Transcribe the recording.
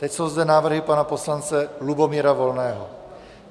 Teď jsou zde návrhy pana poslance Lubomíra Volného.